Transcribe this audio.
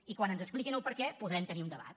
i quan ens expliquin el perquè podrem tenir un debat